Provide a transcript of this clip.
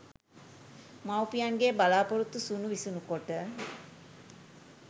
මවුපියන්ගේ බලාපොරොත්තු සුණු විසුණු කොට